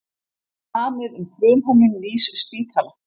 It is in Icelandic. Samið um frumhönnun nýs spítala